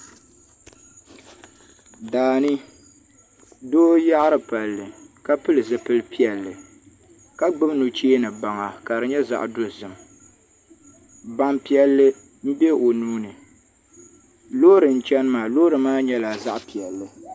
Daani doo yaɣari palli ka pili zipili piɛlli ka gbubi nuchee ni baŋa ka di nyɛ zaɣ dozim ban piɛlli n bɛ o nuuni loori n chɛni maa loori maa nyɛla zaɣ piɛlli